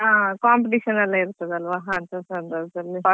ಹೌದು ಆವಾಗೆಲ್ಲ class ಕೂಡ ಇರುದಿಲ್ಲ ನಮಿಗೆ.